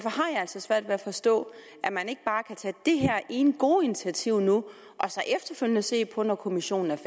altså svært ved at forstå at man ikke bare kan tage det her ene gode initiativ nu og så efterfølgende se på når kommissionens